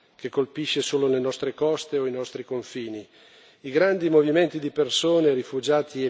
che questo non è un fenomeno circoscritto, che colpisce solo le nostre coste o i nostri confini.